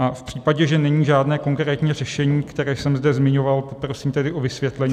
A v případě, že není žádné konkrétní řešení, které jsem zde zmiňoval, poprosím tedy o vysvětlení.